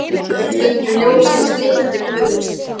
Við stöndum í ljósi hins lifanda guðs.